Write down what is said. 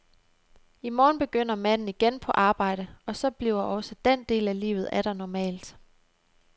I morgen begynder manden igen på arbejde, og så bliver også den del af livet atter normalt.